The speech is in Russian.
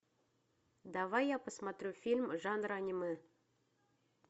давай я посмотрю фильм жанра аниме